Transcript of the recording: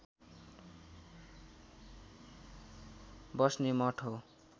बस्ने मठ हो